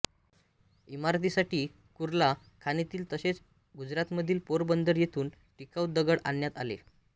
इमारतीसाठी कुर्ला खाणीतील तसेच गुजरातमधील पोरबंदर येथून टिकाऊ दगड आणण्यात आले